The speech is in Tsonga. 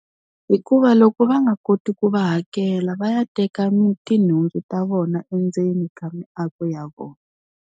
Hikuva loko va nga koti ku va hakela va ya teka tinhundzu ta vona endzeni ka miako ya vona.